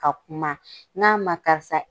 Ka kuma. N'a ma tarisa